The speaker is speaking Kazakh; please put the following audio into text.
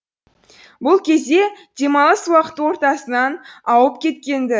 бұл кезде демалыс уақыты ортасынан ауып кеткен ді